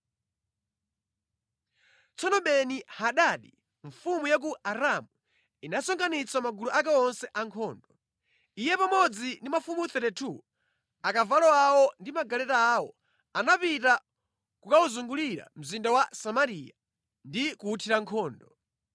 Tsono Beni-Hadadi mfumu ya ku Aramu inasonkhanitsa magulu ake onse a ankhondo. Iye pamodzi ndi mafumu 32, akavalo awo ndi magaleta awo, anapita kukawuzungulira mzinda wa Samariya ndi kuwuthira nkhondo.